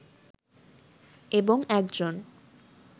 এবং একজন